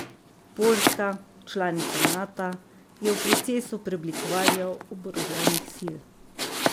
Poljska, članica Nata, je v procesu preoblikovanja oboroženih sil.